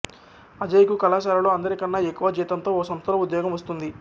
అజయ్ కు కళాశాలలో అందరికన్నా ఎక్కువ జీతంతో ఓ సంస్థలో ఉద్యోగం వస్తుంది